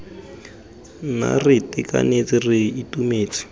nna re itekanetse re itumetse